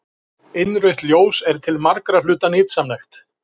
Innrautt ljós er til margra hluta nytsamlegt.